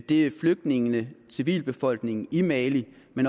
det er flygtningene civilbefolkningen i mali men